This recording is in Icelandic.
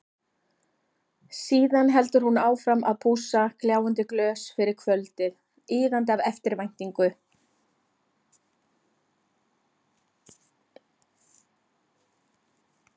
Síðan heldur hún áfram að pússa gljáandi glös fyrir kvöldið, iðandi af eftirvæntingu.